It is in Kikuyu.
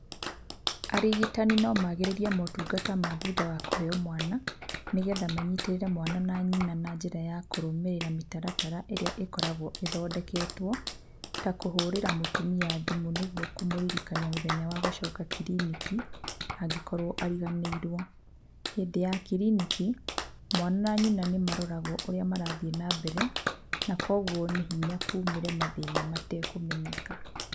Arigitani no magĩrĩrie motungata ma thutha wa kũheo mwana nĩ getha manyitĩrĩre mwana na nyina na njĩra ya kũrũmĩrĩra mĩtaratara ĩrĩa ĩkoragwo ĩthondeketwo ta kũhũrĩra mũtumia thimũ nĩguo kũmũririkania mũthenya wa gũcoka kiriniki angĩkorwo ariganĩirwo. Hĩndĩ ya kiriniki, mwana na nyina nĩ maroragwo ũrĩa marathiĩ na mbere na kũoguo nĩ hinya kumĩre mathĩna matekũmenyeka.